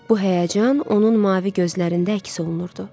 Bu həyəcan onun mavi gözlərində əks olunurdu.